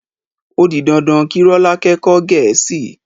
O di dandan kí Rọ́lákẹ́ kọ́ Gẹ̀ẹ́sì.